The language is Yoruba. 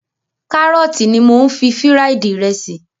Kárọ̀tì ní mò ń fi fíráídí ìrẹsì.